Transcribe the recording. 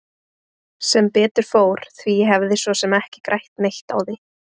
Sem betur fór því ég hefði svo sem ekki grætt neitt á því.